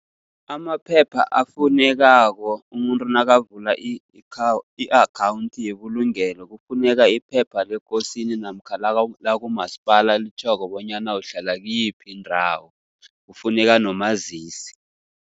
Amaphepha afunekako umuntu nakavula i-akhawuthi yebulungelo, kufuneka iphepha lekosini namkha lakumasipala elitjhoko bonyana uhlala kiyiphi indawo, kufuneka nomazisi.